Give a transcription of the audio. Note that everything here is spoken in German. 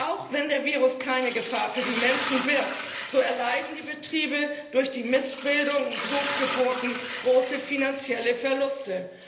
Auch wenn der Virus keine Gefahr für die Menschen birgt, so erleiden die Betriebe durch die Missbildungen und Totgeburten große finanzielle Verluste.